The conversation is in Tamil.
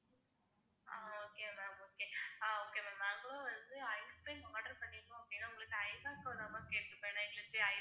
ஆஹ் okay ma'am okay ah okay ma'am நான் கூட வந்து ice cream order பண்ணிருந்தோம் அப்படின்னா உங்ககிட்ட ஐபேக்கோ தான் ma'am கேட்டிருப்பேன்.